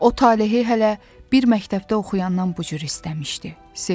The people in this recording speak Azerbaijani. O Talehi hələ bir məktəbdə oxuyandan bu cür istəmişdi, sevmişdi.